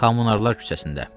Kommunarlar küçəsində.